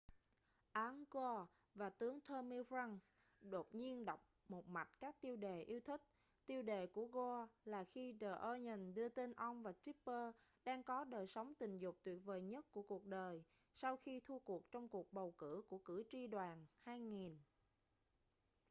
al gore và tướng tommy franks đột nhiên đọc một mạch các tiêu đề yêu thích tiêu đề của gore là khi the onion đưa tin ông và tipper đang có đời sống tình dục tuyệt vời nhất của cuộc đời sau khi thua cuộc trong cuộc bầu cử của cử tri đoàn 2000